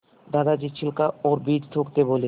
दादाजी छिलका और बीज थूकते बोले